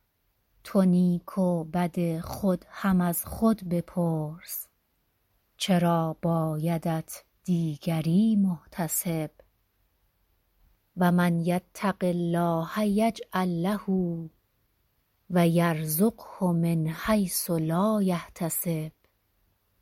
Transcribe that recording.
تو نیک و بد خود هم از خود بپرس چرا بایدت دیگری محتسب و من یتق الله یجعل له و یرزقه من حیث لا یحتسب